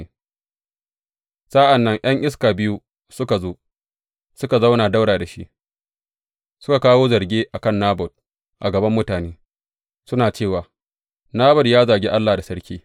Sa’an nan ’yan iska biyu suka zo, suka zauna ɗaura da shi, suka kawo zarge a kan Nabot a gaban mutane, suna cewa, Nabot ya zagi Allah da sarki.